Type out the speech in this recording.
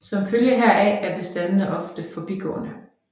Som følge heraf er bestandene ofte forbigående